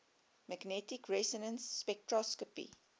magnetic resonance spectroscopy